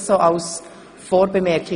Dies als Vorbemerkung.